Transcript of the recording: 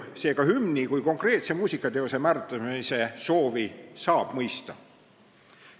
Seega saab hümni kui konkreetse muusikateose määratlemise soovi mõista.